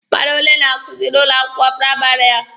Mmadụ ole na-akuzi n'ụlọ akwụkwọ praịmarị a?